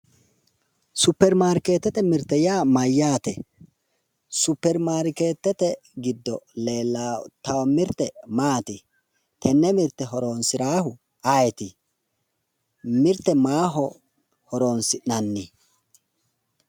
superimaarkeetete mirte yaa mayyaate? superimaarkeetete giddo leellitanno mirte maati tenne mirte horonsiraahu ayeeti? mirte maaho horonsi'nanni?